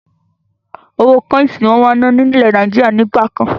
Owó kọ́insì ni wọn máa ń ná ni ilẹ̀ Nàìjíríà nígbà kan.